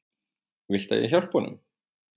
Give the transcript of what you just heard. Viltu að ég hjálpi honum?